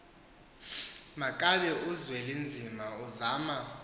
makabe uzwelinzima uzama